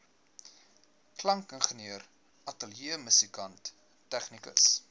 klankingenieur ateljeemusikant tegnikus